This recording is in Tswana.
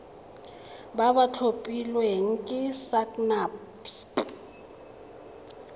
ba ba tlhophilweng ke sacnasp